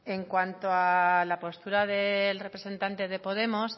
en cuanto a la postura del representante de podemos